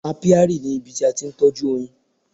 Apiary ni ibi tí a ti ń tọ́jú oyin.